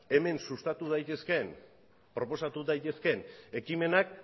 hemen sustatu daitezkeen proposatu daitezkeen ekimenak